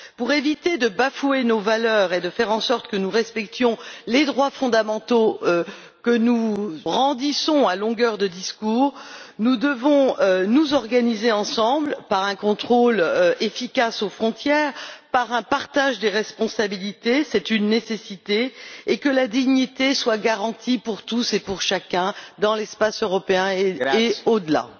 Pour éviter de bafouer nos valeurs et faire en sorte que nous respections les droits fondamentaux que nous brandissons à longueur de discours, nous devons nous organiser ensemble par un contrôle efficace aux frontières, par un partage des responsabilités c'est une nécessité et veiller à ce que la dignité soit garantie pour tout un chacun, dans l'espace européen et au delà.